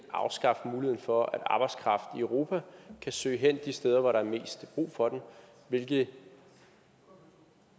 afskaffe muligheden for at arbejdskraften i europa kan søge hen de steder hvor der er mest brug for den hvilket